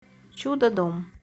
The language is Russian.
чудодом